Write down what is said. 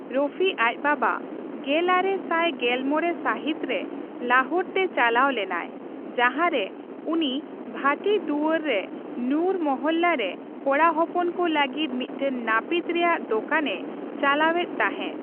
ᱨᱚᱯᱷᱤ ᱟᱪ ᱵᱟᱵᱟ ᱜᱮᱞᱟᱨᱮ ᱥᱟᱭ ᱯᱮᱜᱮᱞᱢᱚᱲᱮ ᱥᱟᱹᱦᱤᱛᱨᱮ ᱞᱟᱦᱳᱨᱛᱮ ᱪᱟᱞᱟᱣ ᱞᱮᱱᱟᱭ, ᱡᱟᱸᱦᱟᱨᱮ ᱩᱱᱤ ᱵᱷᱟᱴᱤ ᱫᱩᱭᱟᱹᱨᱨᱮ ᱱᱩᱨ ᱢᱚᱦᱚᱞᱞᱟᱨᱮ ᱠᱚᱲᱟ ᱦᱚᱯᱚᱱ ᱠᱚ ᱞᱟᱹᱜᱤᱫ ᱢᱤᱫᱴᱟᱝ ᱱᱟᱯᱤᱛ ᱨᱮᱭᱟᱜ ᱫᱳᱠᱟᱱ ᱮ ᱪᱟᱞᱟᱮ ᱮᱛ ᱛᱟᱸᱦᱮ ᱾